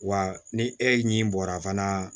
Wa ni e ɲi bɔra fana